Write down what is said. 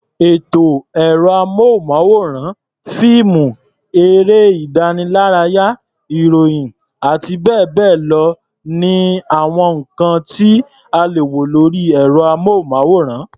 Ètò orí ẹ̀rọ-amóhùnmáwòrán, fíìmù, eré-ìdánilárayá, ìròyìn àti bẹ́ẹ̀ bẹ́ẹ̀ lọ ni àwọn nǹkan tí a lè wo lórí ẹ̀rọ-amóhùnmáwòrán.